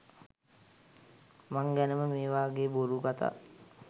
මං ගැන මේවගේ බොරු කතා